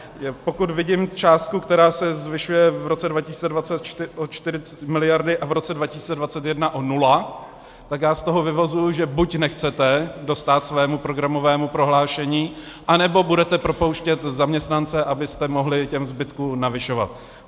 Pokud vidím částku, která se zvyšuje v roce 2020 o 4 miliardy a v roce 2021 o nula, tak já z toho vyvozuji, že buď nechcete dostát svému programovému prohlášení, anebo budete propouštět zaměstnance, abyste mohli tomu zbytku navyšovat.